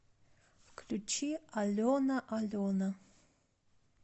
включи алена алена